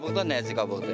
Qabığı da nazik qabıqdır.